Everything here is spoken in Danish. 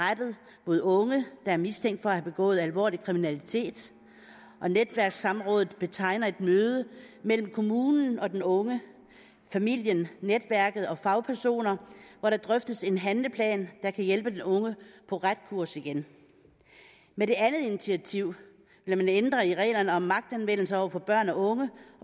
rettet mod unge der er mistænkt for at have begået alvorlig kriminalitet og netværkssamrådet betegner et møde mellem kommunen og den unge familien netværket og fagpersoner hvor der drøftes en handleplan der kan hjælpe den unge på ret kurs igen med det andet initiativ vil man ændre i reglerne om magtanvendelse over for børn og unge